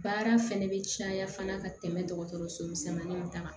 Baara fɛnɛ bɛ caya fana ka tɛmɛ dɔgɔtɔrɔsomisɛnninw ta kan